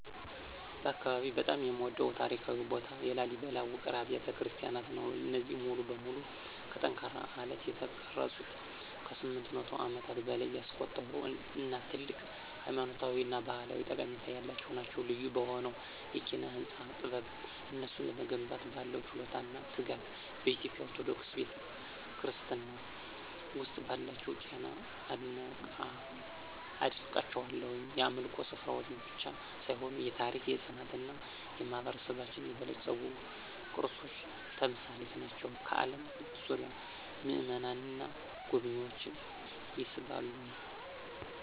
በአካባቢዬ በጣም የምወደድበት ታሪካዊ ቦታ የላሊበላ ውቅር አብያተ ክርስቲያናት ነው። እነዚህ ሙሉ በሙሉ ከጠንካራ አለት የተቀረጹት ከ800 ዓመታት በላይ ያስቆጠሩ እና ትልቅ ሃይማኖታዊ እና ባህላዊ ጠቀሜታ ያላቸው ናቸው። ልዩ በሆነው የኪነ-ህንፃ ጥበብ፣ እነሱን ለመገንባት ባለው ችሎታ እና ትጋት፣ በኢትዮጵያ ኦርቶዶክስ ክርስትና ውስጥ ባላቸው ሚና አደንቃቸዋለሁ። የአምልኮ ስፍራዎች ብቻ ሳይሆኑ የታሪክ፣ የፅናት እና የማህበረሰባችን የበለፀጉ ቅርሶች ተምሳሌት ናቸው፣ ከአለም ዙሪያ ምእመናንን እና ጎብኝዎችን ይስባሉ።